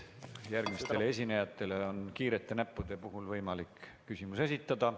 Kiirete näppude olemasolu korral on võimalik järgmistele esinejatele küsimusi esitada.